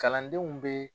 Kalandenw bɛ